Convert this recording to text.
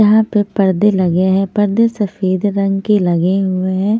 यहाँ पे पर्दे लगे हैं पर्दे सफेद रंग के लगे हुए है।